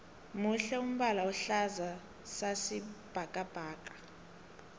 muhle umbala ohlaza sasi bhakabhaka